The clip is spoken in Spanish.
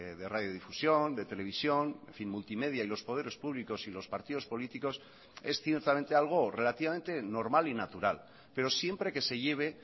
de radiodifusión de televisión en fin multimedia y los poderes públicos y los partidos políticos es ciertamente algo relativamente normal y natural pero siempre que se lleve